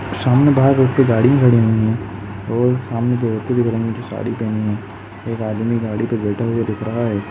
सामने बाहर रोड पे गाड़ी खड़ी हुईं हैं और सामने दो औरते इख रही हैं जो साड़ी पहनी है। एक आदमी गाड़ी पे बैठा हुआ दिख रहा है।